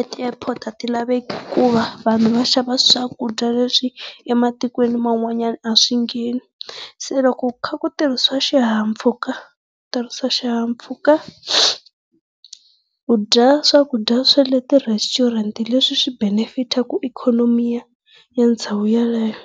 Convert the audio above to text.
e ti-airport a ti laveki hikuva vanhu va xava swakudya leswi ematikweni man'wanyana a swi ngheni. Se loko ku kha ku tirhisiswa xihahampfhuka, tirhisa xihahampfhuka, u dya swakudya swa le ti restaurant leswi swi benefitaka ikhonomi ya ya ndhawu yeleyo.